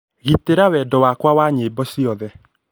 gitĩra wendo wakwa wa nyĩmbo ciothe